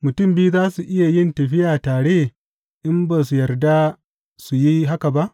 Mutum biyu za su iya yin tafiya tare in ba su yarda su yi haka ba?